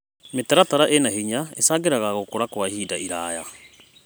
Mĩtaratara ĩna hinya ĩcangagĩra gũkũra kwa ihinda iraya.